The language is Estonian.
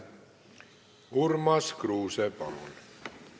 Urmas Kruuse, palun!